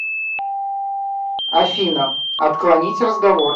афина отклонить разговор